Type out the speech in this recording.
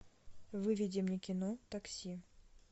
выведи мне кино такси